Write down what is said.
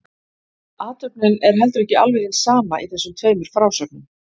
Athöfnin er heldur ekki alveg hin sama í þessum tveimur frásögnum.